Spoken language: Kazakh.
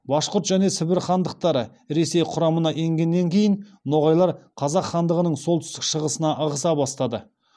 башқұрт және сібір хандықтары ресей құрамына енгеннен кейін ноғайлар қазақ хандығының солтүстік шығысына ығыса бастады